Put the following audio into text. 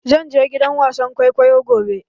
Zan je gidan wasan kwaikwayo gobe